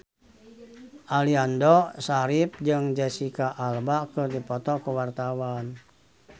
Aliando Syarif jeung Jesicca Alba keur dipoto ku wartawan